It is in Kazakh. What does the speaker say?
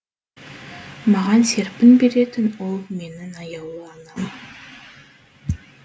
маған серпін беретін ол менің аяулы анам